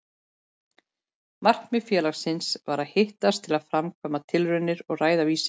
Markmið félagsins var að hittast til að framkvæma tilraunir og ræða vísindi.